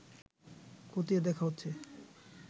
খতিয়ে দেখা হচ্ছে